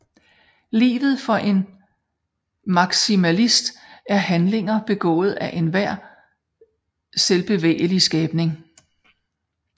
Livet for en maksimalist er handlinger begået af enhver selvbevægelig skabning